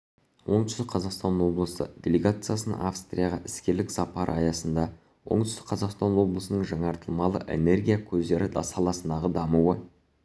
оңтүстік қазақстан облысы делегациясының австрияға іскерлік сапары аясында оңтүстік қазақстан облысының жаңартылмалы энергия көздері саласындағы даму